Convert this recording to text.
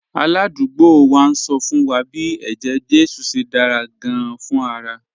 Aládùúgbò wa ń sọ fún wa bí eje-jesu ṣe dára gan-an fún ara